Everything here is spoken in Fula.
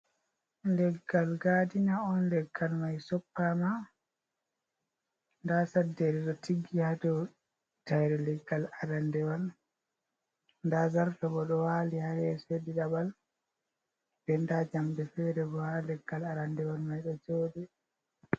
Leggal gaadina on, leggal may soppaama ndaa saddeere ɗo tiggi haa dow tayre leggal aranndewal ,ndaa zarto bo ɗo waali haa les ɗiɗaɓal, be ndaa njamɗe feere bo haa leggal aranndewal may ɗo jooɗi.